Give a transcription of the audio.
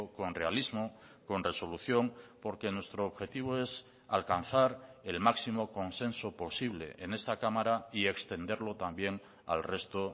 con realismo con resolución porque nuestro objetivo es alcanzar el máximo consenso posible en esta cámara y extenderlo también al resto